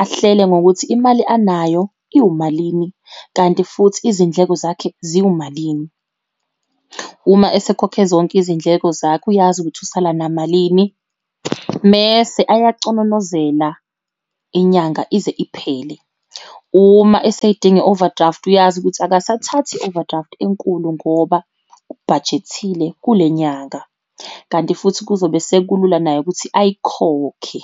ahlele ngokuthi imali anayo iwumalini, kanti futhi izindleko zakhe ziwumalini. Uma esekhokhe zonke izindleko zakhe, uyazi ukuthi usala namalini, mese ayacononozela inyanga ize iphele. Uma eseyidinga i-overdraft, uyazi ukuthi akasathathi i-overdraft enkulu ngoba ubhajethile kule nyanga, kanti futhi kuzobe sekulula naye ukuthi ayikhokhe.